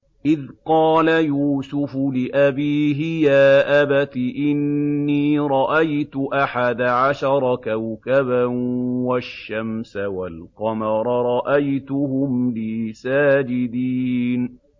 إِذْ قَالَ يُوسُفُ لِأَبِيهِ يَا أَبَتِ إِنِّي رَأَيْتُ أَحَدَ عَشَرَ كَوْكَبًا وَالشَّمْسَ وَالْقَمَرَ رَأَيْتُهُمْ لِي سَاجِدِينَ